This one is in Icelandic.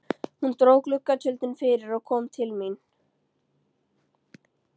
Hún dró gluggatjöldin fyrir og kom til mín.